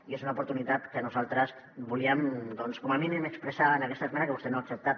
i és una oportunitat que nosaltres volíem doncs com a mínim expressar en aquesta esmena que vostè no ha acceptat